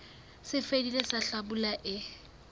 se fetileng sa hlabula e